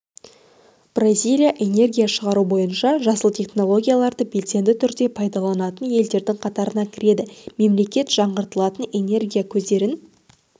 бразилия энергия шығару бойынша жасыл технологияларды белсенді түрде пайдаланатын елдердің қатарына кіреді мемлекет жаңғыртылатын энергия көздерін